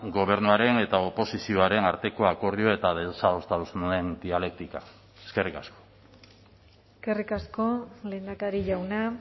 gobernuaren eta oposizioaren arteko akordio eta desadostasunen dialektika eskerrik asko eskerrik asko lehendakari jauna